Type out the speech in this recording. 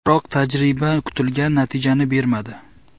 Biroq tajriba kutilgan natijani bermadi.